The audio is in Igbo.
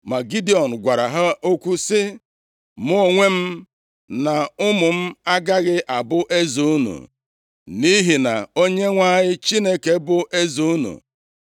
Ma Gidiọn gwara ha okwu sị, “Mụ onwe m na ụmụ m agaghị abụ eze unu, nʼihi na Onyenwe anyị Chineke bụ eze unu.”